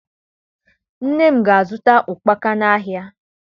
Nne m ga-azụta ụkpaka n'ahịa